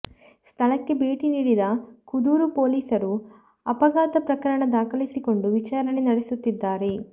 ಸ್ಥಳಕ್ಕೆ ಭೇಟಿ ನೀಡಿದ ಕುದೂರು ಪೊಲೀಸರು ಅಪಘಾತ ಪ್ರಕರಣ ದಾಖಲಿಸಿಕೊಂಡು ವಿಚಾರಣೆ ನಡೆಸುತ್ತಿದ್ದಾರೆ